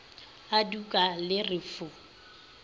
a tuka le re fu